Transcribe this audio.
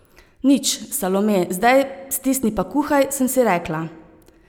Nič, Salome, zdaj stisni pa kuhaj, sem si rekla.